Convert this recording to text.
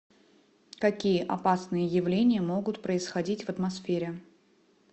какие опасные явления могут происходить в атмосфере